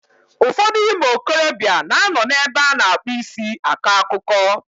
Ụfọdụ ụmụ okorobịa na ano n'ebe a na-akpụ isi akọ akụkọ.